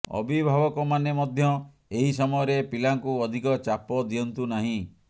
ଅଭିଭାବକ ମାନେ ମଧ୍ୟ ଏହି ସମୟରେ ପିଲାଙ୍କୁ ଅଧିକ ଚାପ ଦିଅନ୍ତୁ ନାହିଁ